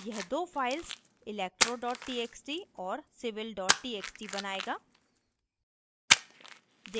यह दो files electro txt और civil txt बनाएगा